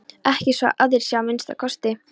Ekki svo að aðrir sjái að minnsta kosti.